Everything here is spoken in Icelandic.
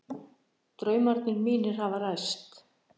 Draumarnir mínir hafa ræst